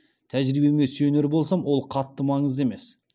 тәжірибеме сүйенер болсам ол қатты маңызды емес